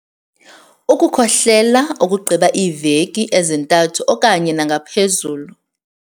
Ukukhohlela okugqiba iiveki ezintathu okanye nangaphezulu.